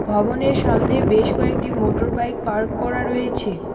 ভবনের সামনে বেশ কয়েকটি মোটর বাইক পার্ক করা রয়েছে।